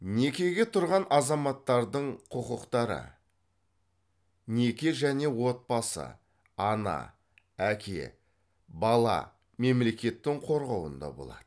некеге тұрған азаматтардың құқықтары неке және отбасы ана әке бала мемлекеттің қорғауында болады